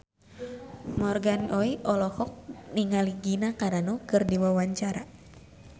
Morgan Oey olohok ningali Gina Carano keur diwawancara